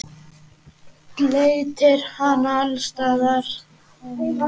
Bleytir hana alls staðar.